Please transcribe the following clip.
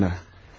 Bayan Katerina.